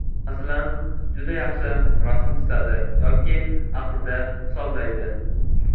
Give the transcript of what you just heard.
Masalan, juda yaxshi rasm chizadi yoki aqlida hisoblaydi.